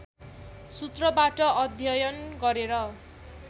सूत्रबाट अध्ययन गरेर